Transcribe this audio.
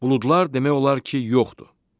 Buludlar demək olar ki, yoxdur.